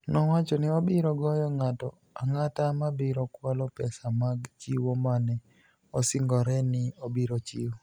nowacho nii obiro goyo nig'ato anig'ata ma biro kwalo pesa mag chiwo ma ni e osinigore nii obiro chiwo.